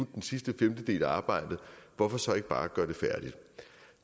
den sidste femtedel af arbejdet hvorfor så ikke bare gøre det færdigt